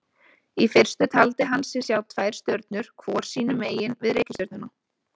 Í fyrstu taldi hann sig sjá tvær stjörnur hvor sínu megin við reikistjörnuna.